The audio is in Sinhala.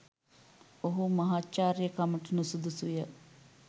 ඔහු මහාචාර්යකමට නුසුදුසුය.